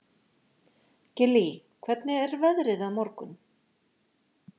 Gillý, hvernig er veðrið á morgun?